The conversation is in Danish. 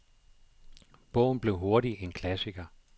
Bogen blev hurtigt en klassiker.